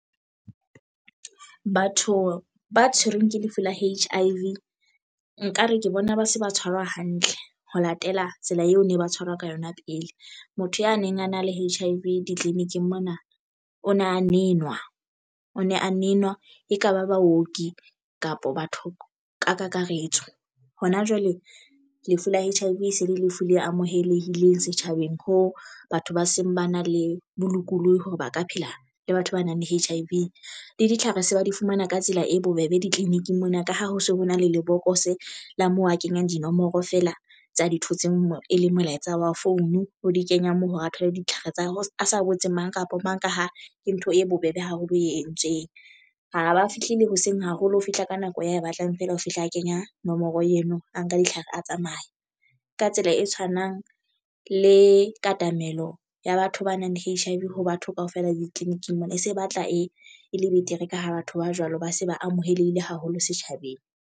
Batho ba tshwerweng ke lefu la H_I_V nkare ke bona ba se ba tshwarwa hantle ho latela tsela eo ne ba tshwarwa ka yona pele motho ya neng a na le H_I_V ditliliniking mona o na neng nwa o ne a nenwa ekaba baoki kapa batho ka kakaretso hona jwale. Lefu la H_I_V e se le lefu le amohelehileng setjhabeng ho batho ba seng ba na le bolokolohi hore ba ka phela le batho ba nang le H_I_V le ditlhare se ba di fumana ka tsela e bobebe ditleliniking mona ka ha ho se ho na le lebokose la moo a kenyang dinomoro feela tsa di thotseng mo e leng molaetsa wa phone o di kenya moo hore a thole ditlhare tsa ha e sa botse mang kapa mang. Ka ha ke ntho e bobebe haholo e entsweng ho ba fihlile hoseng haholo ho fihla ka nako ya e batlang feela, ho fihla a kenya nomoro eno. A nka ditlhare a tsamaya ka tsela e tshwanang le katamelo ya batho ba nang le H_I_V ho batho kaofela ditliliniking mona se batla e le betere ka ho batho ba jwalo ba se ba amohelehile haholo setjhabeng.